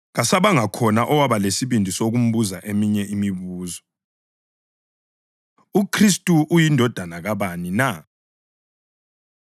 Kasabanga khona owaba lesibindi sokumbuza eminye imibuzo. UKhristu UyiNdodana Kabani Na?